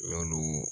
Yalo